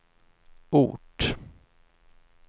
ort